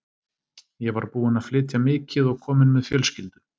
Ég var búinn að flytja mikið og kominn með fjölskyldu.